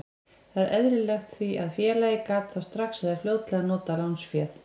Þetta er eðlilegt því að félagið gat þá strax eða fljótlega notað lánsféð.